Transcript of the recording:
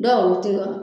Dɔw ti ka